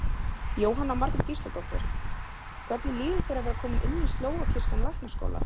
Jóhanna Margrét Gísladóttir: Hvernig líður þér að vera kominn inn í slóvakískan læknaskóla?